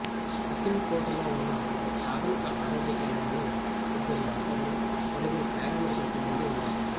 కశింకోటలో ఉన్న ఒకప్రాథమిక ఆరోగ్య కేంద్రంలో ఇద్దరు డాక్టర్లు నలుగురు పారామెడికల్ సిబ్బందీ ఉన్నారు